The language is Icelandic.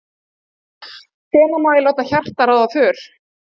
Hvenær má ég láta hjartað ráða för?